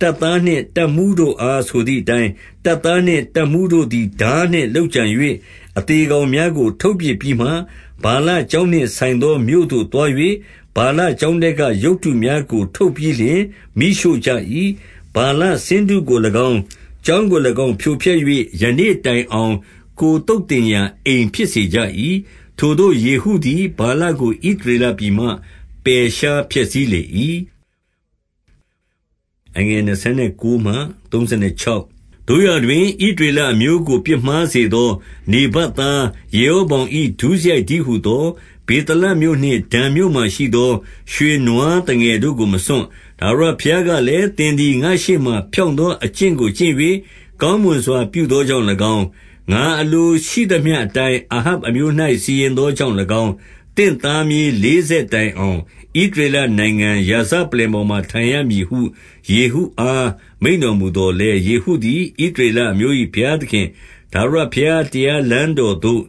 တပ်သားနှင့် တပ်မှူးတို့အားဆိုသည်အတိုင်း၊တပ်သားနှင့် တပ်မှူးတို့ သည် ထားနှင့်လုပ်ကြံ၍ အသေကောင်များကို ထုတ်ပစ်ပြီးမှ၊ 26 ဗာလကျောင်းနှင့်ဆိုင်သော မြို့သို့သွား၍ ဗာလကျောင်းထဲကရုပ်တုများကို ထုတ်ပြီးလျှင် မီးရှို့ကြ၏။ 27 ဗာလ ဆင်းတုကို၎င်း၊ ကျောင်းကို၎င်း ဖြိုဖျက် ၍ ယနေ့တိုင်အောင် ကိုယ်သုတ်သင်ရာ အိမ်ဖြစ်စေ ကြ၏။ 28 ထိုသို့ယေဟုသည် ဗာလကိုဣရေလပြည်မှ ပယ်ရှားဖျက်ဆီးလေ၏။ 29 သို့ရာတွင် ဣသရေလအမျိုးကို ပြစ်မှားစေသော နေဗတ်သား ယေရောဗောင်၏ ဒုစရိုက်တည်းဟူသော၊ ဗေသလမြို့နှင့် ဒန်မြို့မှာရှိသော ရွှေနွားသငယ်တို့ကို မစွန့်။ 30 ထာဝရဘုရားကလည်း၊ သင်သည်ငါ့ရှေ့မှာ ဖြောင့်သောအကျင့်ကို ကျင့်၍ ကောင်းမွန်စွာ ပြုသောကြောင့်၎င်း၊ ငါအလိုရှိသမျှအတိုင်း အာဟပ် အမျိုး၌ စီရင်သောကြောင့်၎င်း၊ သင့်သားမြေးလေးဆက် တိုင်အောင် ဣသရေလနိုင်ငံရာဇပလ္လင်ပေါ်မှာ ထိုင်ရ မည်ဟု ယေဟုအား မိန့်တော်မူသော်လည်း၊ 31 ယေဟုသည် ဣသရေလအမျိုး၏ ဘုရားသခင် ထာဝရဘုရား တရားတော်လမ်းသို့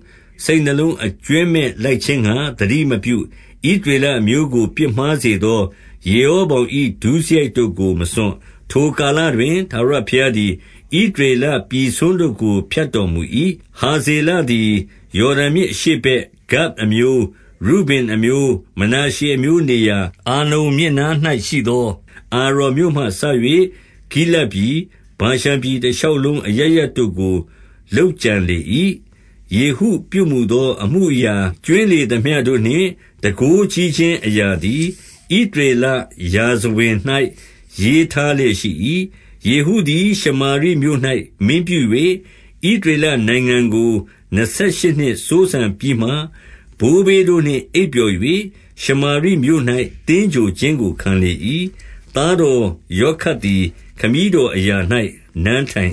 စိတ်နှလုံးအကြွင်းမဲ့ လိုက်ခြင်းငှါ သတိမပြု၊ ဣသရေလအမျိုးကို ပြစ်မှား စေသော ယေရောဗောင်၏ ဒုစရိုက်တို့ကို မစွန့်။ 32 ထိုကာလတွင်၊ ထာဝရဘုရားသည် ဣသရေလ ပြည် စွန်းတို့ကို ဖြတ်တော်မူ၏။ 33 ဟာဇေလသည် ယော်ဒန်မြစ်အရှေ့ဘက်၊ ဂဒ်အမျိုး၊ ရုဗင်အမျိုး၊ မနာရှေအမျိုးနေရာ၊ အာနုန်မြစ် နား၌ရှိသော အာရော်မြို့မှစ၍ ဂိလဒ်ပြည်၊ ဗာရှန်ပြည် တရှောက်လုံး အရပ်ရပ်တို့ကို လုပ်ကြံလေ၏။ 34 ယေဟုပြုမူသော အမှုအရာ ကြွင်းလေသမျှ တို့နှင့် တန်ခိုးကြီးခြင်းအရာသည်၊ ဣသရေလရာဇဝင်၌ ရေးထားလျက်ရှိ၏။ 35 ယေဟုသည် ရှမာရိမြို့၌ မင်းပြု၍၊ ဣသရေလ နိုင်ငံကို နှစ်ဆယ်ရှစ်နှစ်စိုးစံပြီးမှ၊ ဘိုးဘေးတို့နှင့် အိပ်ပျော်၍၊ ရှမာရိမြို့၌ သင်္ဂြိုဟ်ခြင်းကို ခံလေ၏။ သားတော်ယောခတ်သည် ခမည်းတော်အရာ၌ နန်းထိုင်